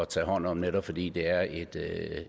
tage hånd om netop fordi det er et